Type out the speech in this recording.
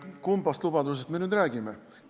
Kummast lubadusest me nüüd räägime?